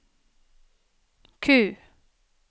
Q